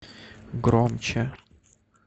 громче